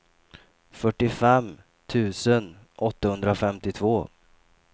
fyrtiofem tusen åttahundrafemtiotvå